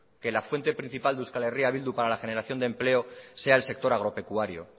que la fuente principal de eh bildu para la generación de empleo sea el sector agropecuario